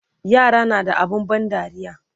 yara na da abun ban dariya